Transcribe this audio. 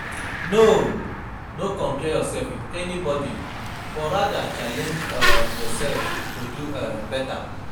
No compare yourself with anybody but rather challenge yourself to dey better